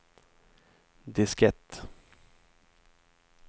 diskett